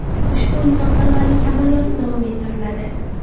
Ushbu insonparvarlik amaliyoti davom ettiriladi.